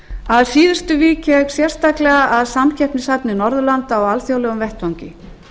að síðustu vík ég sérstaklega að samkeppnishæfni norðurlanda á alþjóðlegum vettvangi